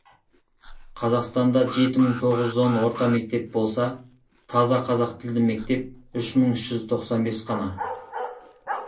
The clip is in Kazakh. қазақстанда жеті мың тоғыз жүз он орта мектеп болса таза қазақ тілді мектеп үш мың үш жүз тоқсан бе с қана